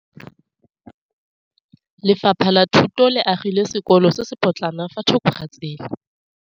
Lefapha la Thuto le agile sekôlô se se pôtlana fa thoko ga tsela.